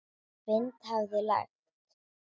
Vind hafði lægt.